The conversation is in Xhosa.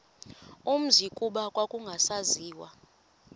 umzi kuba kwakungasaziwa